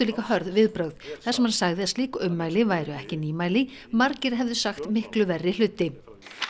líka hörð viðbrögð þar sem hann sagði að slík ummæli væru ekki nýmæli margir hefðu sagt miklu verri hluti